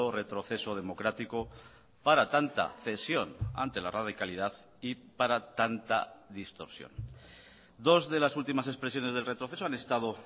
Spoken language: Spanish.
retroceso democrático para tanta cesión ante la radicalidad y para tanta distorsión dos de las últimas expresiones del retroceso han estado